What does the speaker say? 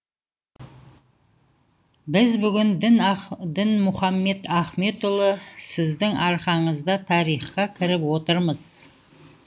біз бүгін дінмұхамед ахметұлы сіздің арқаңызда тарихқа кіріп отырмыз